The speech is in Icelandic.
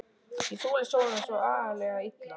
Ég þoli sólina svo agalega illa.